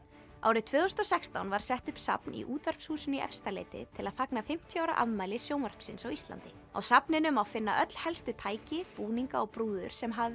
árið tvö þúsund og sextán var sett upp safn í Útvarpshúsinu í Efstaleiti til að fagna fimmtíu ára afmæli sjónvarpsins á Íslandi á safninu má finna öll helstu tæki búninga og brúður sem hafa